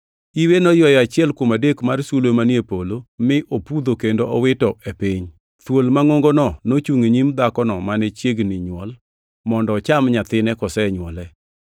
Iwe noywayo achiel kuom adek mar sulwe manie polo mi opudho kendo owitogi e piny. Thuol mangʼongono nochungʼ e nyim dhakono mane chiegni nywol, mondo ocham nyathine kosenywole.